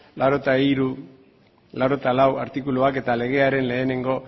laurogeita hiru laurogeita lau artikuluak eta legearen lehenengo